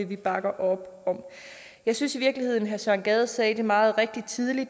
vi bakker op om jeg synes i virkeligheden herre søren gade sagde det meget rigtigt tidligere